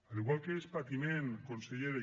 igual que és patiment consellera